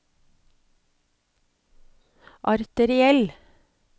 arteriell